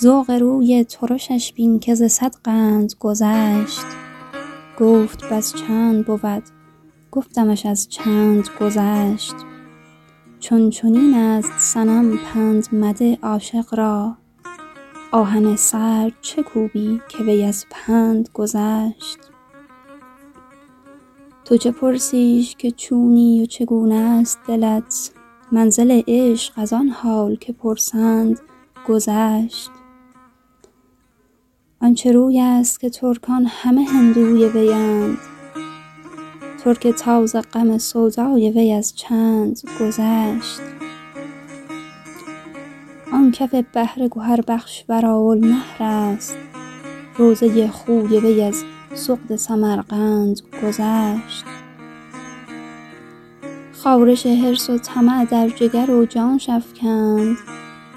ذوق روی ترشش بین که ز صد قند گذشت گفت بس چند بود گفتمش از چند گذشت چون چنین است صنم پند مده عاشق را آهن سرد چه کوبی که وی از پند گذشت تو چه پرسیش که چونی و چگونه است دلت منزل عشق از آن حال که پرسند گذشت آن چه روی است که ترکان همه هندوی ویند ترک تاز غم سودای وی از چند گذشت آن کف بحر گهربخش وراء النهر است روضه خوی وی از سغد سمرقند گذشت خارش حرص و طمع در جگر و جانش افکند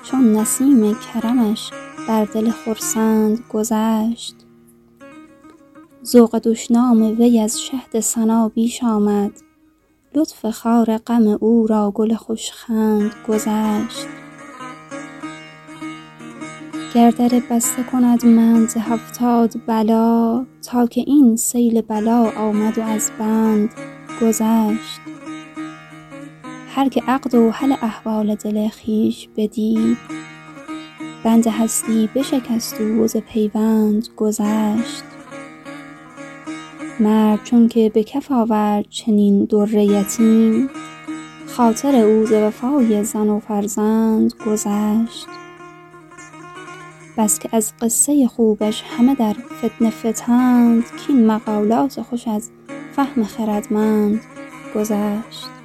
چون نسیم کرمش بر دل خرسند گذشت ذوق دشنام وی از شهد ثنا بیش آمد لطف خار غم او را گل خوش خند گذشت گر در بسته کند منع ز هفتاد بلا تا که این سیل بلا آمد و از بند گذشت هر کی عقد و حل احوال دل خویش بدید بند هستی بشکست او و ز پیوند گذشت مرد چونک به کف آورد چنین در یتیم خاطر او ز وفای زن و فرزند گذشت بس که از قصه خوبش همه در فتنه فتند کاین مقالات خوش از فهم خردمند گذشت